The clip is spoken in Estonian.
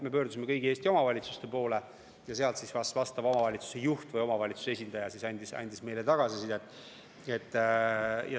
Me pöördusime kõigi Eesti omavalitsuste poole ja omavalitsuse juht või omavalitsuse muu esindaja andis meile tagasisidet.